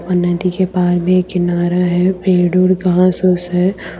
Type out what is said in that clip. और नदी के पार में किनारा है पेड़ ओड घास ओस है।